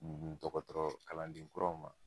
N Dɔkɔtɔrɔ kalanden kuraw ma